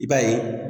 I b'a ye